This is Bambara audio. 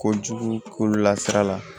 Kojugu kolola sira la